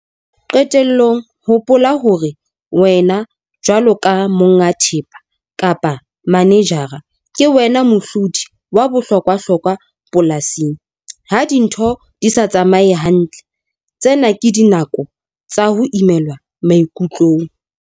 Qetellong hopola hore wena jwalo ka monga thepa kapa manejara ke wena mohlodi wa bohlokwahlokwa polasing. Ha dintho di sa tsamaye hantle, tsena ke dinako tsa ho imelwa maikutlong.